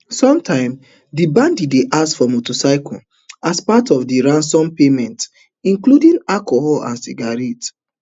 sometimes di bandits dey ask for motorcycles as part of di ransom payment including alcohol and cigarettes